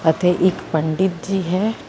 ਅਤੇ ਇੱਕ ਪੰਡਿਤ ਜੀ ਹੈ।